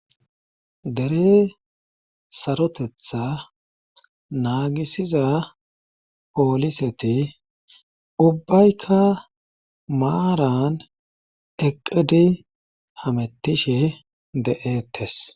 dere sarotetha naagisiza pooliseti ubbaykka maaran eqqidi hamettishe de7eettes